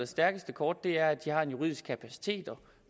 stærkeste kort er at de har en juridisk kapacitet og